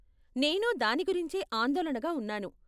నేను దాని గురించే ఆందోళనగా ఉన్నాను.